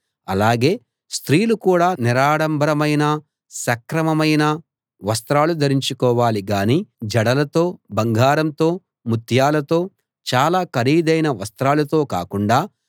అలాగే స్త్రీలు కూడా నిరాడంబరమైన సక్రమమైన వస్త్రాలు ధరించుకోవాలి గానీ జడలతో బంగారంతో ముత్యాలతో చాలా ఖరీదైన వస్త్రాలతో కాకుండా